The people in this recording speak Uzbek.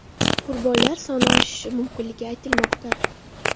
Qurbonlar soni oshishi mumkinligi aytilmoqda.